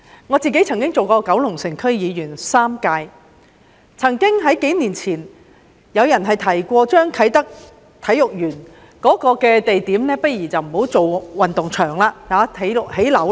我當了3屆九龍城區區議員，數年前曾經有人建議啟德體育園的地點不如不要興建運動場，改為興建樓宇。